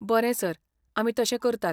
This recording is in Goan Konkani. बरें सर, आमी तशें करतात.